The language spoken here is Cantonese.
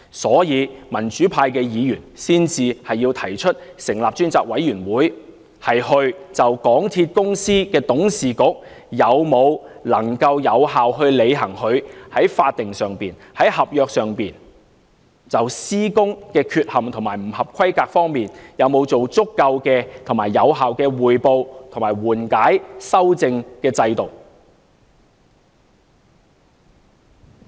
所以，民主派議員才提出成立專責委員會，就港鐵公司董事局能否有效履行其在法定及合約上、就施工缺陷及不合規格方面而言，是否有足夠和有效的匯報及緩解修正制度。